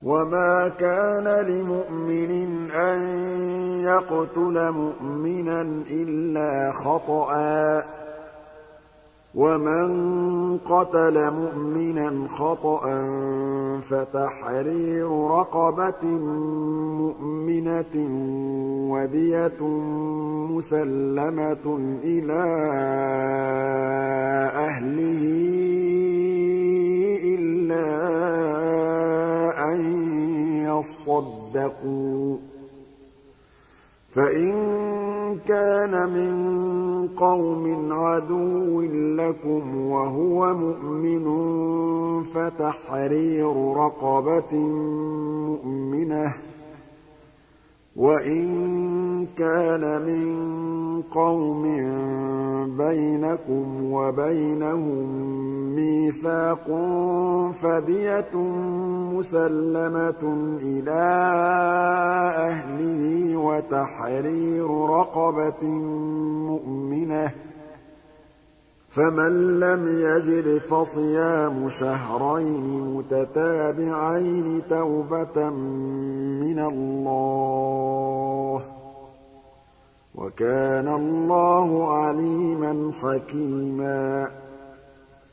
وَمَا كَانَ لِمُؤْمِنٍ أَن يَقْتُلَ مُؤْمِنًا إِلَّا خَطَأً ۚ وَمَن قَتَلَ مُؤْمِنًا خَطَأً فَتَحْرِيرُ رَقَبَةٍ مُّؤْمِنَةٍ وَدِيَةٌ مُّسَلَّمَةٌ إِلَىٰ أَهْلِهِ إِلَّا أَن يَصَّدَّقُوا ۚ فَإِن كَانَ مِن قَوْمٍ عَدُوٍّ لَّكُمْ وَهُوَ مُؤْمِنٌ فَتَحْرِيرُ رَقَبَةٍ مُّؤْمِنَةٍ ۖ وَإِن كَانَ مِن قَوْمٍ بَيْنَكُمْ وَبَيْنَهُم مِّيثَاقٌ فَدِيَةٌ مُّسَلَّمَةٌ إِلَىٰ أَهْلِهِ وَتَحْرِيرُ رَقَبَةٍ مُّؤْمِنَةٍ ۖ فَمَن لَّمْ يَجِدْ فَصِيَامُ شَهْرَيْنِ مُتَتَابِعَيْنِ تَوْبَةً مِّنَ اللَّهِ ۗ وَكَانَ اللَّهُ عَلِيمًا حَكِيمًا